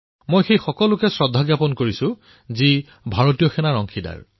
মই তেওঁলোক সকলোকে নমস্কাৰ জনাইছোঁ যি ভাৰতীয় সেনাৰ সৈতে জড়িত